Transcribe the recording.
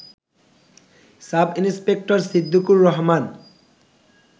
sub inspector Siddiqur Rahman